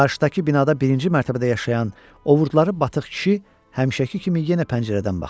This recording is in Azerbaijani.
Qarşıdakı binada birinci mərtəbədə yaşayan, ovurdları batıq kişi həmişəki kimi yenə pəncərədən baxırdı.